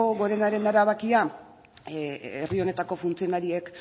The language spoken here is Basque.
gorenaren erabakia herri honetako funtzionarioek